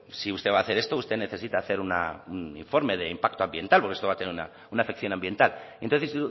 si usted va a hacer esto usted necesita hacer un informe de impacto ambiental porque esto va a tener una afección ambiental y entonces